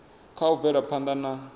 kha u bvela phanda na